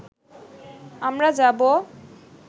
আমরা যাবো